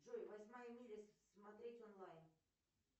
джой восьмая миля смотреть онлайн